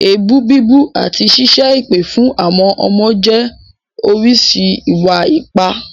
Èébú bíbú àti ṣíṣẹ́ èpè fún àwọn ọmọ jẹ́ oríṣi ìwà-ipá.